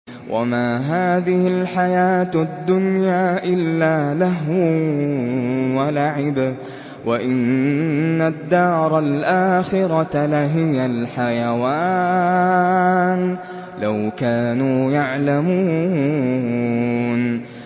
وَمَا هَٰذِهِ الْحَيَاةُ الدُّنْيَا إِلَّا لَهْوٌ وَلَعِبٌ ۚ وَإِنَّ الدَّارَ الْآخِرَةَ لَهِيَ الْحَيَوَانُ ۚ لَوْ كَانُوا يَعْلَمُونَ